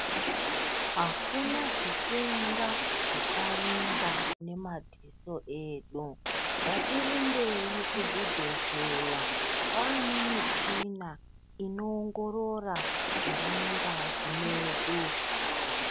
Akuna zvitenda zvicharingwa ngemadziso edu ngatirumbei kuzvibhedhleya kwane michina inoongorora zviri mungazi medu.